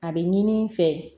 A bɛ ɲini n fɛ